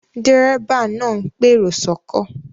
Dérébà náà ń pèrò sọ́kọ̀